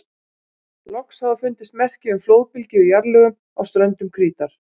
Loks hafa fundist merki um flóðbylgju í jarðlögum á ströndum Krítar.